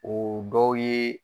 O dow ye.